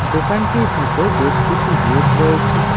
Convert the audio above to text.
দোকানটির ভিতর বেশ কিছু রেক রয়েছে।